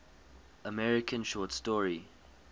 american short story